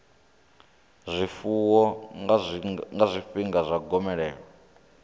zwifuwo nga zwifhinga zwa gomelelo